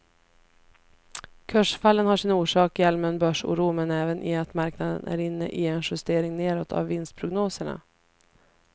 Kursfallen har sin orsak i allmän börsoro men även i att marknaden är inne i en justering nedåt av vinstprognoserna.